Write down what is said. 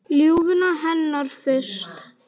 Ljúfuna hennar fyrst.